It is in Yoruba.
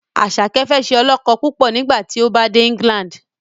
Asake fẹ ṣe olókó púpọ nigbati o bá dè England